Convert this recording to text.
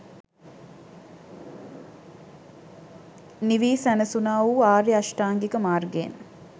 නිවී සැනසුනා වු ආර්ය අෂ්ටාංගික මාර්ගයෙන්